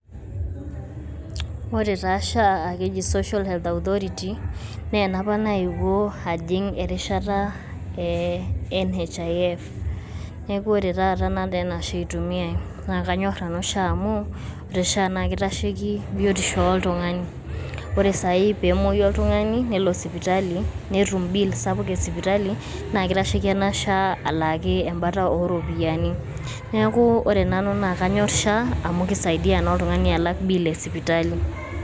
Ore taa SHA akeji Social Health Authority nee enapa naiyeuo ajiin erishaata ene Nhif naa kore taata naa anaa SHA aitumia. Naa kaanyor nanu SHA amu ore SHA na keitashekii miutishoo oltunga'ani. Ore sai pee emoyuu oltung'ani neelo isipitali neetum biil sapuk isipitali naa keitasheki enaa SHA alaaki embaata oropiani. Neeku ore nanu naa kaanyor SHA amu kisaidia iltung'ani alaak biil esipitali.